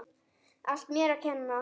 Allt mér að kenna.